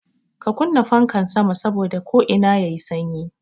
Ka kunna fankan sama saboda ko'ina yayi sanyi